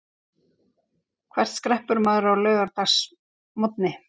Hvert skreppur maður á laugardagsmorgni?